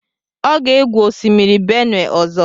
Ọ ga-egwu osimiri Benue ọzọ.